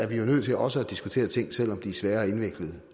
vi jo nødt til også at diskutere ting selv om de er svære og indviklede